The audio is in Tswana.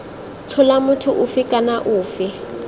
tshola motho ofe kana ofe